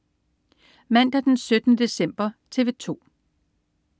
Mandag den 17. december - TV 2: